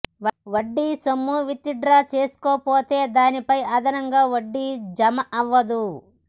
వడ్డీ సొమ్ము విత్డ్రా చేసుకోకపోతే దానిపై అదనంగా వడ్డీ జమ అవ్వదు